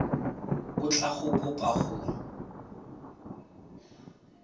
o tla go kopa go